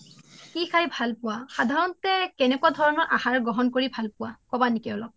সাধাৰণতে কি খাই ভাল পোৱা সাধাৰণতে কেনেকুৱা ধৰণৰ আহাৰ গ্ৰহণ কৰি ভাল পোৱা কবা নেকি অলপ